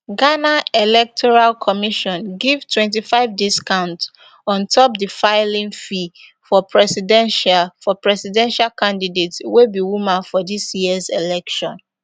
ghana electoral commission give twenty-five discount on top di filing fee for presidential for presidential candidates wey be women for dis years election